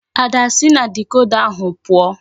Ada si na dikoda ahu puo!